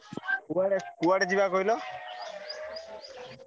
କୁଆଡେ କୁଆଡେ ଯିବା କହିଲ?